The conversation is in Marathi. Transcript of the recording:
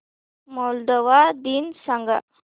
मोल्दोवा दिन सांगा